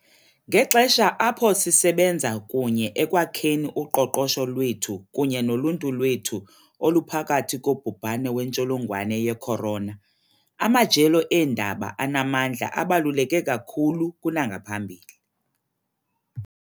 Ngexesha apho sisebenza kunye ekwakheni uqoqosho lwethu kunye noluntu lwethu oluphakathi kobhubhane wentsholongwane ye-corona, amajelo eendaba anamandla abaluleke kakhulu kunangaphambili.